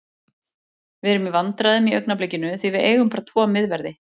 Við erum í vandræðum í augnablikinu því við eigum bara tvo miðverði.